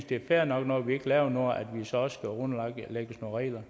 det er fair nok når vi ikke laver noget at vi så også underlagt nogle regler